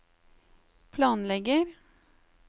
planlegger